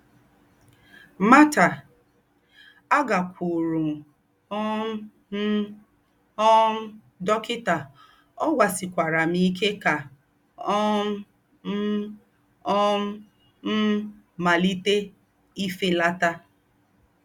Marta: “Àgákwúúrù um m um dọ́kità, ọ̀ gwásíkwàrà m íké ká um m̀ um m̀ màlíté ìfélátà